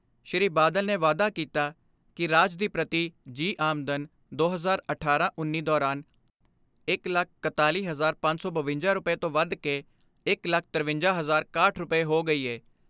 ਸ੍ਰੀ ਬਾਦਲ ਨੇ ਵਾਧਾ ਕੀਤਾ ਕਿ ਰਾਜ ਦੀ ਪ੍ਰਤੀ ਜੀਅ ਆਮਦਨ ਦੋ ਹਜ਼ਾਰ ਅਠਾਰਾਂ ਉੱਨੀ ਦੌਰਾਨ ਇਕ ਲੱਖ ਇਕਤਾਲੀ ਹਜਾਰ ਪੰਜ ਸੌ ਬਵੰਜਾ ਰੁਪਏ ਤੋਂ ਵਧ ਕੇ ਇਕ ਲੱਖ ਤਰਵੰਜਾ ਹਜਾਰ ਇਕਾਹਠ ਰੁਪਏ ਹੋ ਗਈ ਏ।